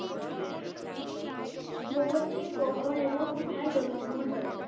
ভগৎ সিং কখন এবং কোথায় জন্ম গ্রহণ করেন?